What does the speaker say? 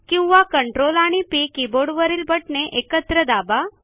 किंवा Ctrl आणि P कीबोर्डवरील बटणे एकत्र दाबा